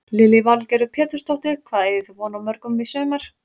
Lillý Valgerður Pétursdóttir: Hvað eigið þið von á mörgum í sumar?